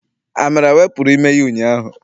Amara wepụrụ ime ya ụnyaahụ.